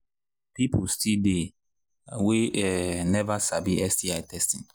people still they we um never sabi sti testing